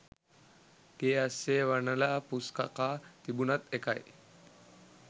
ගේ අස්සෙ වනල පුස් කකා තිබුණත් එකයි